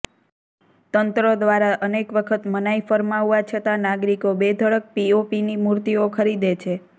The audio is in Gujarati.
તંત્ર દ્વારા અનેક વખત મનાઈ ફરમાવવા છતાં નાગરિકો બેધડક પીઓપીની મૂર્તિઓ ખરીદે છે